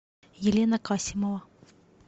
елена касимова